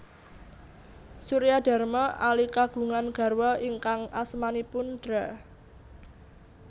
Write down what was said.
Suryadharma Ali kagungan garwa ingkang asmanipun Dra